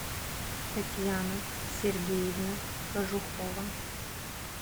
татьяна сергеевна кожухова